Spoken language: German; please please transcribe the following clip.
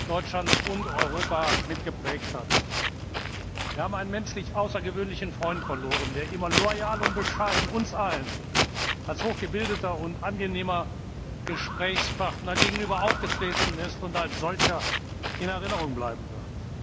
Deutschland und Europa mitgeprägt hat. Wir haben einen menschlich außergewöhnlichen Freund verloren, der immer loyal und bescheiden uns allen gegenüber als hochgebildeter und angenehmer Gesprächspartner aufgetreten ist und als solcher in Erinnerung bleiben wird.